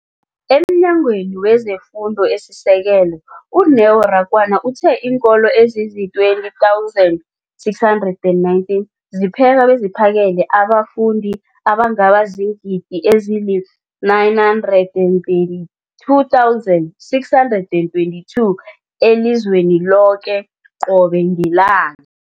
EmNyangweni wezeFundo esiSekelo, u-Neo Rakwena, uthe iinkolo ezizi-20 619 zipheka beziphakele abafundi abangaba ziingidi ezili-9 032 622 elizweni loke qobe ngelanga.